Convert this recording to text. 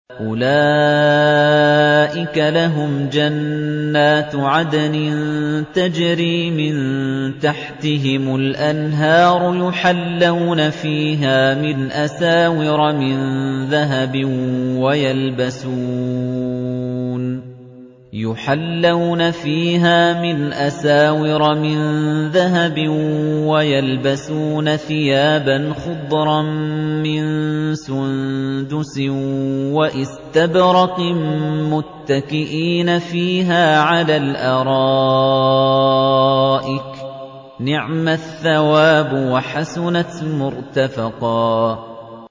أُولَٰئِكَ لَهُمْ جَنَّاتُ عَدْنٍ تَجْرِي مِن تَحْتِهِمُ الْأَنْهَارُ يُحَلَّوْنَ فِيهَا مِنْ أَسَاوِرَ مِن ذَهَبٍ وَيَلْبَسُونَ ثِيَابًا خُضْرًا مِّن سُندُسٍ وَإِسْتَبْرَقٍ مُّتَّكِئِينَ فِيهَا عَلَى الْأَرَائِكِ ۚ نِعْمَ الثَّوَابُ وَحَسُنَتْ مُرْتَفَقًا